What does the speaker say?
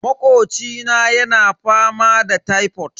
Makocina yana fama da tifod.